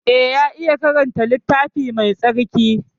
Eh ya iya karanta littafi Mai tsarki.